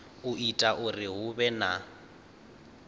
ita uri hu vhe na